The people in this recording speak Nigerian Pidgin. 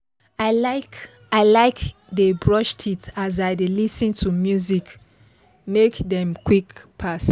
i like i like dey brush teeth as i dey lis ten to music make time quick pass